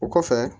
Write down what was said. O kɔfɛ